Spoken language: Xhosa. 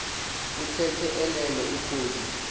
uthe elele ukhwozi